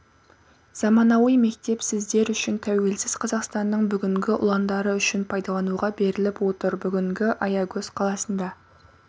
заманауи мектеп сіздер үшін тәуелсіз қазақстанның бүгінгі ұландары үшін пайдлануға беріліп отыр бүгінгі аягөз қаласында